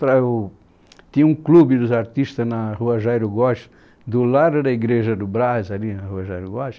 É o... Tinha um clube dos artistas na rua Jairo Góes, do lado da Igreja do Braz, ali na rua Jairo Góes.